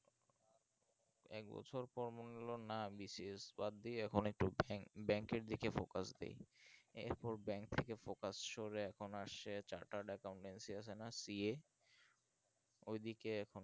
এক বছর পর মনে হলো না BCS বাদ দিয়ে এখন একটু bank আর দিকে focus দি এর পর bank থেকে focus সরে এখন তো আর chartered accountancy এর CA ওই দিকে